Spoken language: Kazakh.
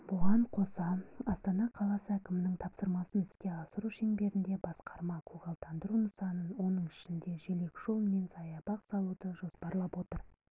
бұған қоса астана қаласы әкімінің тапсырмасын іске асыру шеңберінде басқарма көгалдандыру нысанын соның ішінде желекжол мен саябақ салуды жоспарлап отыр олар